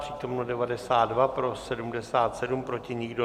Přítomno 92, pro 77, proti nikdo.